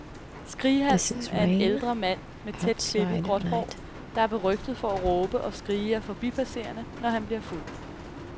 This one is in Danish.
Skrighalsen er en ældre mand med tæt klippet gråt hår, der er berygtet for at råbe og skrige af forbipasserende, når han bliver fuld.